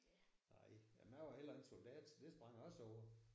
Nej jamen jeg var heller ikke soldat så det sprang jeg også over